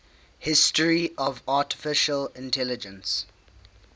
history of artificial intelligence